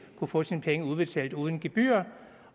kunne få sine penge udbetalt uden gebyrer